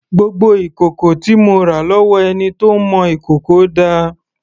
Gbogbo ìkòkò tí mo rà lọ́wọ́ ẹni tó ń mọ ìkòkò dà?